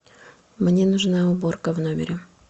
мне нужна уборка в номере